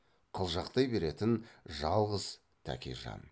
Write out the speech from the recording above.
қылжақтай беретін жалғыз тәкежан